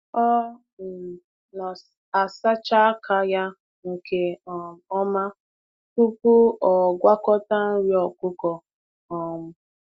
Ọ um na-asacha aka ya nke um ọma tupu ọ gwakọta nri ọkụkọ. um